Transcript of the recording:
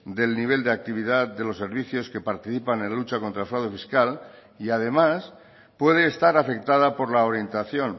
del nivel de actividad de los servicios que participan en la lucha contra el fraude fiscal y además puede estar afectada por la orientación